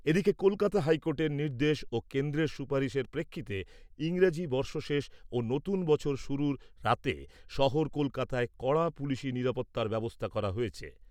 এদিকে, কলকাতা হাইকোর্টের নির্দেশ ও কেন্দ্রের সুপারিশের প্রেক্ষিতে ইংরেজি বর্ষশেষ ও নতুন বছর শুরুর রাতে শহর কলকাতায় কড়া পুলিশি নিরাপত্তার ব্যবস্থা করা হয়েছে।